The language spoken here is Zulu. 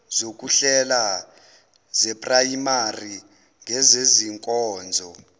zokuhlela zeprayimari ngezezinkonzo